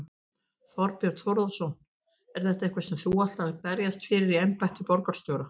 Þorbjörn Þórðarson: Er þetta eitthvað sem þú ætlar að berjast fyrir í embætti borgarstjóra?